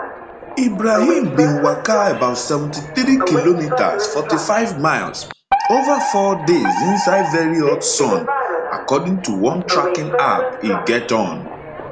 ibrahim bin waka about 73 kilometres 45 miles ova four days inside very hot sun according to one tracking app e get on